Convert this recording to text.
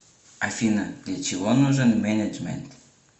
афина для чего нужен менеджмент